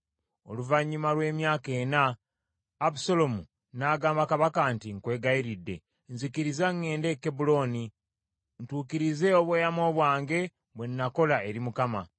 Oluvannyuma lw’emyaka ena, Abusaalomu n’agamba kabaka nti, “Nkwegayiridde, nzikiriza ŋŋende e Kebbulooni, ntuukirize obweyamo bwange bwe nakola eri Mukama .